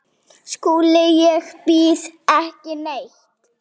SKÚLI: Ég býð ekki neitt.